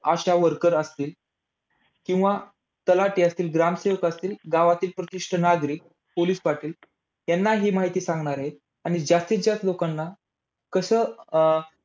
ASHA worker असतील. किंवा तलाठी असतील, ग्रामसेवक असतील, गावातील प्रतिष्ठित नागरिक, पोलीस पाटील यांना हि माहिती सांगणार आहेत. आणि जास्तीत जास्त लोकांना कसं अं